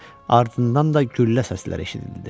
Ardından da güllə səsləri eşidildi.